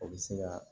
O bɛ se ka